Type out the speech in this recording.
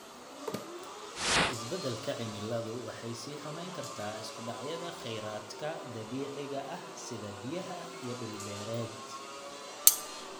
Isbeddelka cimiladu waxay sii xumeyn kartaa isku dhacyada kheyraadka dabiiciga ah sida biyaha iyo dhul beereed.